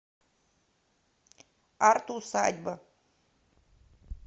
арт усадьба